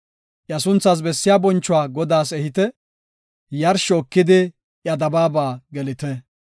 Iya sunthaas bessiya bonchuwa Godaas ehite; Yarsho ekidi iya dabaaba gelite.